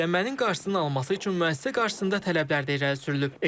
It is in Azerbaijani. Çirklənmənin qarşısını alması üçün müəssisə qarşısında tələblər də irəli sürülüb.